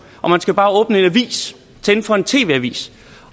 man skal bare åbne en avis tænde for en tv avis